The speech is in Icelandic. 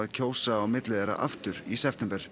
kjósa á milli þeirra aftur í september